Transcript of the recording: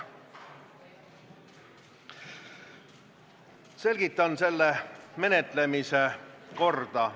Selgitan selle päevakorrapunkti menetlemise korda.